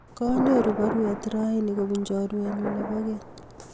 Kanyoru parwet raini kopun chorwennyu nepo keny